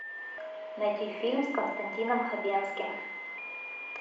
найти фильм с константином хабенским